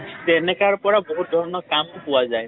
তেনেকাৰ পৰা বহুত ধৰণৰ কাম পোৱা যায়।